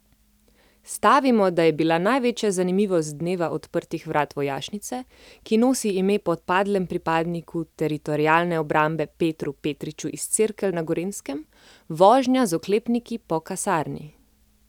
Stavimo, da je bila največja zanimivost dneva odprtih vrat vojašnice, ki nosi ime po padlem pripadniku Teritorialne obrambe Petru Petriču iz Cerkelj na Gorenjskem, vožnja z oklepniki po kasarni.